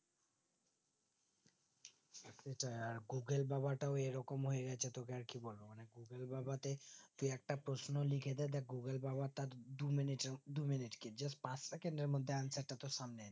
সেটাই আর google বাবাটাও এইরকম হয়েগেছে ত্বকের আর কি বলবো google বাবাতে তুই একটা প্রশ্ন লিখেদে দে দেখ google বাবা তার দু minute টে minute কি পাঁচ second এর মধ্যে answer টা তোর সামনে